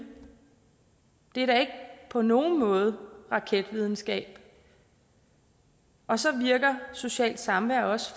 det er da på nogen måde raketvidenskab og så virker socialt samvær også